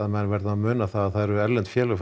menn verða að muna það að erlend félög